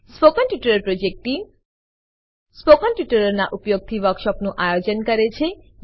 spoken tutorial project team spoken ટ્યુટોરીયલોનાં ઉપયોગથી વર્કશોપોનું આયોજન કરે છે